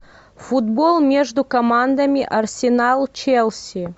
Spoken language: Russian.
футбол между командами арсенал челси